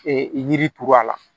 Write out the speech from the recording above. Ee yiri turu a la